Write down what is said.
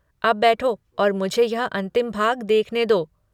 अब बैठो और मुझे यह अंतिम भाग देखने दो।